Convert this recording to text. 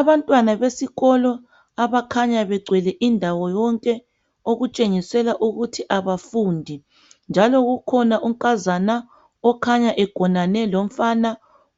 Abantwana besikolo abakhanya begcwele indawo yonke okutshengisela ukuthi abafundi njalo kukhona unkazana okhanya engonane lomfana